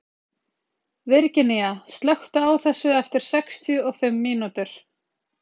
Virginía, slökktu á þessu eftir sextíu og fimm mínútur.